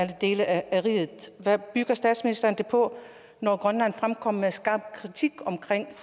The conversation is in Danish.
dele af riget hvad bygger statsministeren det på når grønland fremkommer med skarp kritik